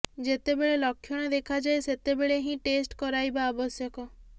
ଯେତେବେଳେ ଲକ୍ଷଣ ଦେଖାଯାଏ ସେତେବେଳେ ହିଁ ଟେଷ୍ଟ କରାଇବା ଆବଶ୍ୟକ